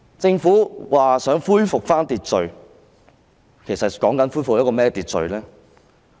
政府說想恢復秩序，是要恢復怎樣的秩序呢？